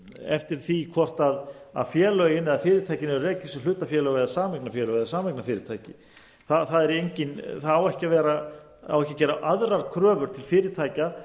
eftir því hvort félögin eða fyrirtækin eru rekin sem hlutafélög eða sameignarfélög eða sameignarfyrirtæki það á ekki að gera aðrar kröfur til fyrirtækja